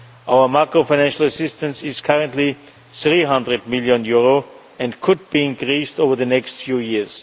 Our macro financial assistance is currently EUR 300 million and could be increased over the next few years.